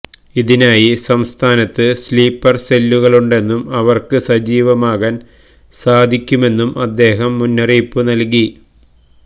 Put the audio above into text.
ഇതിനായി സംസ്ഥാനത്ത് സ്ലീപ്പർ സെല്ലുകളുണ്ടെന്നും അവർക്ക് സജീവമാകാൻ സാധിക്കുമെന്നും അദ്ദേഹം മുന്നറിയിപ്പ് നൽകി